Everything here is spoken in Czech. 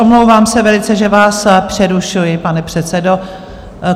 Omlouvám se velice, že vás přerušuji, pane předsedo.